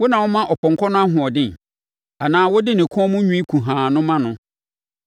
“Wo na woma ɔpɔnkɔ no nʼahoɔden anaa wode ne kɔn mu nwi kuhaa no ma no?